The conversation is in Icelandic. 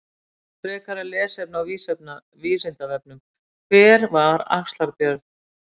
Frekara lesefni á Vísindavefnum: Hver var Axlar-Björn?